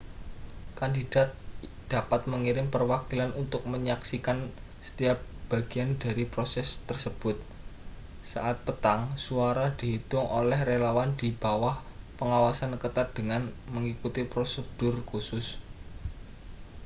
kandidat dapat mengirim perwakilan untuk menyaksikan setiap bagian dari proses tersebut saat petang suara dihitung oleh relawan di bawah pengawasan ketat dengan mengikuti prosedur khusus